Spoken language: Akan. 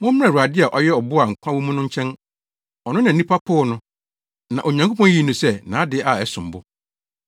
Mommra Awurade a ɔyɛ ɔbo a nkwa wɔ mu no nkyɛn. Ɔno na nnipa poo no, na Onyankopɔn yii no sɛ nʼade a ɛsom bo.